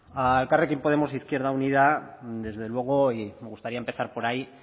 a elkarrekin podemos izquierda unida desde luego y me gustaría empezar por ahí